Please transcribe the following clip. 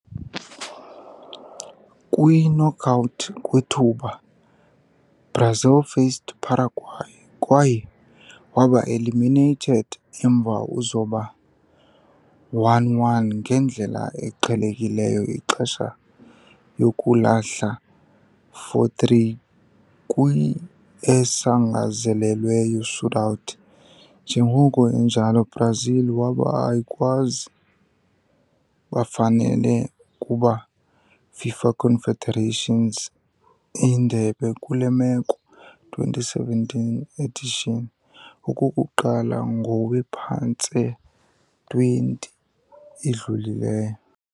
Kwi-knockout kwethuba, Brazil faced Paraguay kwaye waba eliminated emva uzoba 1-1 ngendlela eqhelekileyo ixesha yokulahla 4-3 kwi-esangezelelweyo shootout. Njengoko enjalo, Brazil waba ayikwazi bafanele kuba FIFA Confederations Indebe, kule meko, 2017 edition, okokuqala ngowe-phantse-20 idlulileyo.